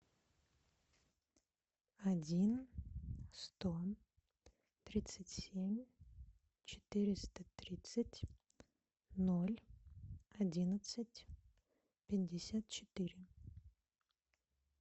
один сто тридцать семь четыреста тридцать ноль одиннадцать пятьдесят четыре